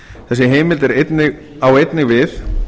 þessi heimild á einnig við